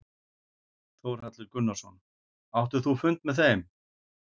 Þórhallur Gunnarsson: Áttir þú fund með þeim?